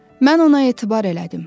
Mən ona etibar elədim.